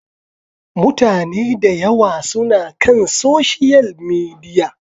Mutane da yawa suna kan Social Media.